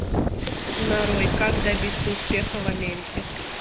нарой как добиться успеха в америке